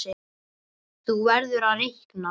Þú verður að reikna